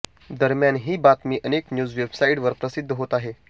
दरम्यान ही बातमी अनेक न्यूज वेबसाइट्सवर प्रसिद्ध होत आहे